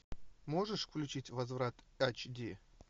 можешь включить возврат эйч ди